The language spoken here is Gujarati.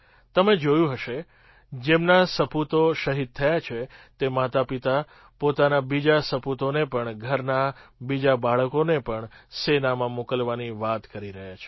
તમે જોયું હશે જેમના સપૂતો શહીદ થયા તે માતાપિતા પોતાના બીજા સપૂતોને પણ ઘરનાં બીજાં બાળકોને પણ સેનામાં મોકલવાની વાત કરી રહ્યા છે